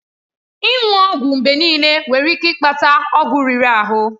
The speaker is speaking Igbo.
Ịṅụ ọgwụ mgbe niile nwere ike ịkpata ọgwụ riri ahụ.